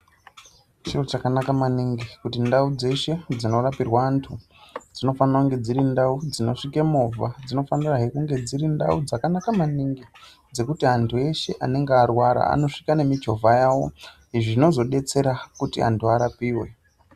Chiro chakanaka maningi kuti ndau dzeshe dzinorapirwa antu dzinofanire kunge dziri ndau dzinosvike movha. Dzinofanirahe kunge dziri ndau dzakanaka maningi dzekuti antu eshe anonga arwara anosvika nemichovha yavo zvinozobetsera kuti antu arapive.